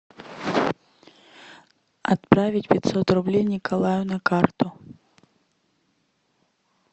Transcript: отправить пятьсот рублей николаю на карту